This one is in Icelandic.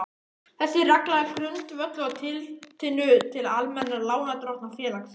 Þessi regla er grundvölluð á tillitinu til almennra lánardrottna félagsins.